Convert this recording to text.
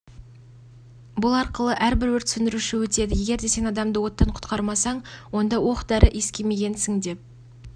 бұл арқылы әрбір өрт сөндіруші өтеді егерде сен адамды оттан құтқармасаң онда оқ дәрі иіскемегенсің деп